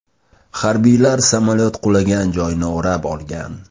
Harbiylar samolyot qulagan joyni o‘rab olgan.